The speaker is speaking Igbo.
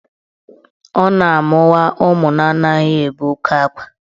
Ọ na-amụwa ụmụ na anaghị ebe oke akwa